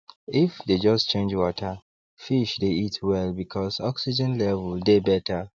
if dey just change waterfish dey eat well because oxgen level dey better